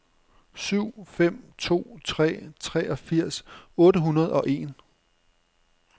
syv fem to tre treogfirs otte hundrede og en